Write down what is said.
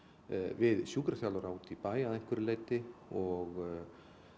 við sjúkraþjálfara út í bæ að einhverju leyti og